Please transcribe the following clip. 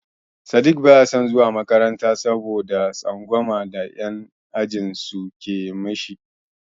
Sadiq baya son zuwa makaranta saboda tsangwama da yan' ajinsu ke mishi.